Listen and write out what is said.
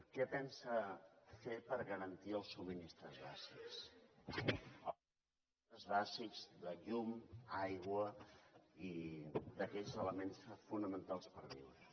què pensa fer per garantir el subministraments bàsics de llum aigua i aquells elements fonamentals per viure